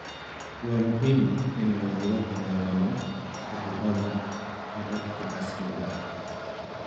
Waa muhiim in lagula dagaallamo cudurrada hababka casriga ah.